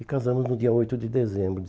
E casamos no dia oito de dezembro